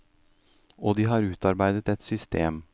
Og de har utarbeidet et system.